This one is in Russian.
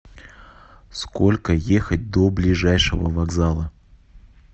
сколько ехать до ближайшего вокзала